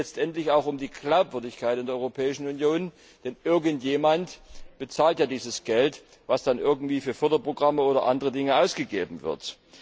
Es geht letztendlich auch um die Glaubwürdigkeit der Europäischen Union, denn irgendjemand bezahlt ja dieses Geld, das für Förderprogramme oder andere Dinge ausgegeben wird.